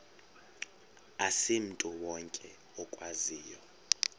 asimntu wonke okwaziyo